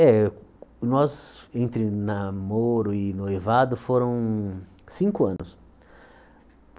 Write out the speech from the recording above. É, nós, entre namoro e noivado, foram cinco anos.